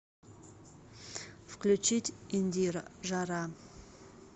включить индира жара